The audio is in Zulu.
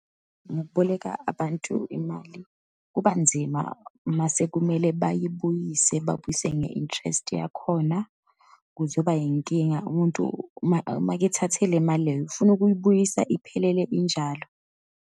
Ngokuboleka abantu imali kubanzima, uma sekumele bayibuyise, babuyise nge-interest yakhona. Kuzoba yinkinga umuntu uma, uma-ke ethathe le mali leyo, ufuna ukuyibuyisa iphelele injalo.